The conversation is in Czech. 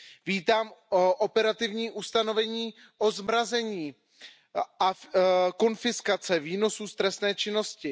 Vítám operativní ustanovení o zmrazení a konfiskaci výnosů z trestné činnosti.